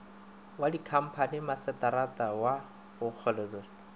wa dikhamphani masetara wa kgorotshekokgolo